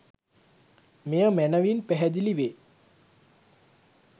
මෙය මැනවින් පැහැදිලි වේ.